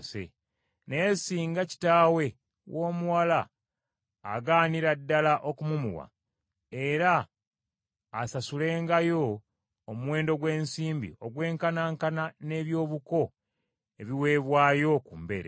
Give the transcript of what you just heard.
Naye singa kitaawe w’omuwala agaanira ddala okumumuwa, era asasulangayo omuwendo gw’ensimbi ogwenkanankana n’eby’obuko ebiweebwayo ku mbeerera.